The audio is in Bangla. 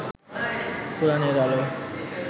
কোরআনের আলো